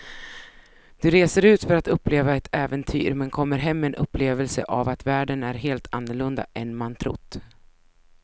Du reser ut för att uppleva ett äventyr men kommer hem med en upplevelse av att världen är helt annorlunda än man trott.